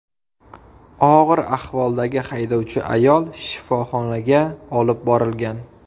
Og‘ir ahvoldagi haydovchi ayol shifoxonaga olib borilgan.